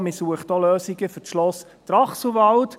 Man sucht auch Lösungen für das Schloss Trachselwald.